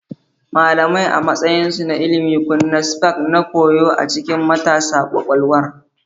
Malamai, a matsayinsu na ilimi, kunna spark na koyo a cikin matasa kwakwalwar.